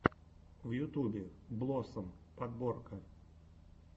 в ютубе блоссом подборка